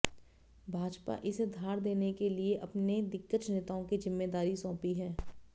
भाजपा इसे धार देने के लिए अपने दिग्गज नेताओं को जिम्मेदारी सौंपी है